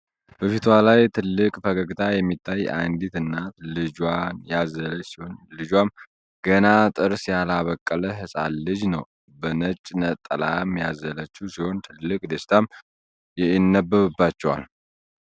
በፊቷ ላይ ትልቅ ፈገግታ የሚታይ አንዲት እናት ልጇን ያዘለች ሲሆን ልጇም ግና ጥርስ ያላበቀለ ህፃን ልጅ ነው ። በነጭ ነጠላም ያዘለችው ሲሆን ትልቅ ደስታም የነበብባቸዋል።